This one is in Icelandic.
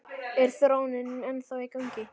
Er þróunin ennþá í gangi?